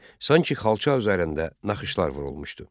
Sanki xalça üzərində naxışlar vurulmuşdu.